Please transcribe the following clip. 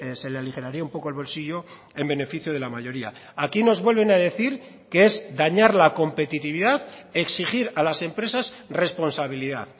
se le aligeraría un poco el bolsillo en beneficio de la mayoría aquí nos vuelven a decir que es dañar la competitividad exigir a las empresas responsabilidad